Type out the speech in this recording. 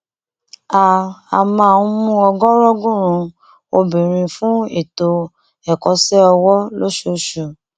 a a máa ń mú ọgọọrọgùnún obìnrin fún ètò ẹkọṣẹ ọwọ lóṣooṣù